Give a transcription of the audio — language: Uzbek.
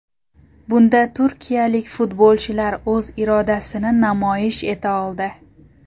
Bunda turkiyalik futbolchilar o‘z irodasini namoyish eta oldi.